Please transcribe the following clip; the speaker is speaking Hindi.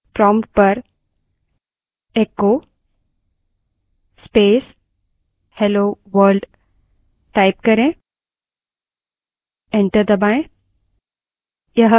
prompt पर echo space hello world type करें और enter दबायें